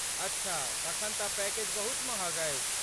अच्छा, तखन तँ पैकेज बहुत महग अछि।